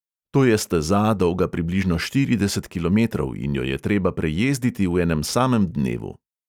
To je steza dolga približno štirideset kilometrov in jo je treba prejezditi v enem samem dnevu.